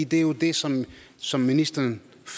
det er jo det som som ministeren